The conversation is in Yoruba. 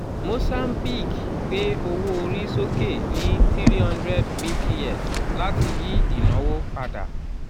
mozambique gbé owó orí sókè ní three hundred bps láti yí ìnáwó padà